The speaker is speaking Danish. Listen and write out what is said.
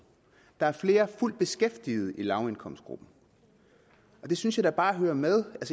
der er flere fuldt beskæftigede i lavindkomstgruppen og det synes jeg da bare hører med